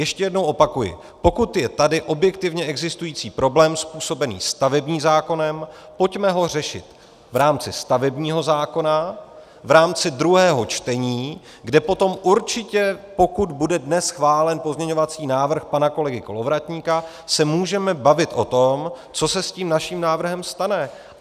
Ještě jednou opakuji - pokud je tady objektivně existující problém způsobený stavebním zákonem, pojďme ho řešit v rámci stavebního zákona, v rámci druhého čtení, kde potom určitě, pokud bude dnes schválen pozměňovací návrh pana kolegy Kolovratníka, se můžeme bavit o tom, co se s tím naším návrhem stane.